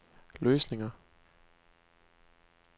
løsninger